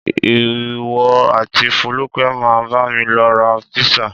Ìwọ àti Fólúkẹ́ máa bámi lọ ra písà.